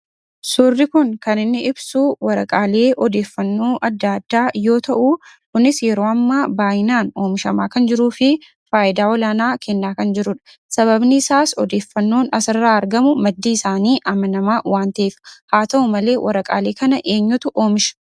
Suurri kun kan inni ibsu waraqaalee odeeffannoo adda addaa yoo ta'u, kunis yeroo ammaa baay'inaan omishamaa kan jiruufi faayidaa olaanaa kennaa kan jirudha. Sababni isaas odeeffannoon asirraa argamu maddi isaanii amanamaa waan ta'eefi. Haa ta'u malee, waraqaalee kana eenyutu oomisha?